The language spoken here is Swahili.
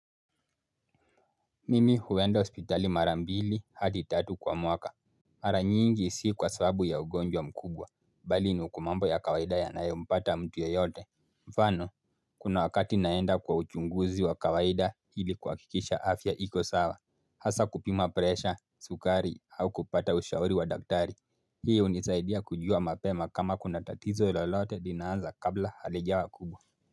Mimi huenda hospitali mara mbili hadi tatu kwa mwaka. Mara nyingi si kwa sababu ya ugonjwa mkubwa. Bali ni kwa mambo ya kawaida yanayompata mtu yeyote. Mfano kuna wakati naenda kwa uchunguzi wa kawaida hili kuhakikisha afya iko sawa. Hasa kupima presha sukari au kupata ushauri wa daktari. Hii hunisaidia kujua mapema kama kuna tatizo lolote linaanza kabla halijawa kubwa.